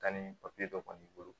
Kanni papiye dɔ kɔni bolo